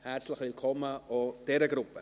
Herzlich willkommen auch an diese Gruppe.